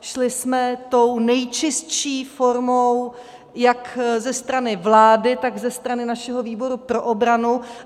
Šli jsme tou nejčistší formou jak ze strany vlády, tak ze strany našeho výboru pro obranu.